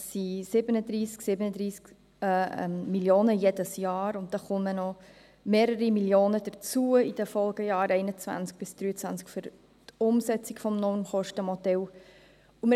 Es sind 37 Mio. Franken jedes Jahr, und mehrere Mio. Franken kommen in den Folgejahren 2021–2023 für die Umsetzung des Normkostenmodells hinzu.